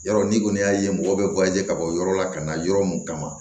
Yɔrɔ ni kɔni y'a ye mɔgɔw bɛ ka bɔ yɔrɔ la ka na yɔrɔ mun kama